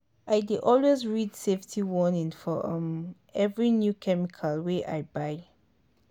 i dey always read safety warning for um every new chemical wey i buy.